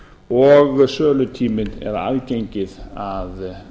og sölutíminn eða aðgengi að